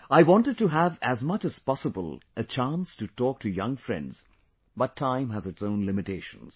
I wanted to have as much as possible a chance to talk to young friends but time has its own limitations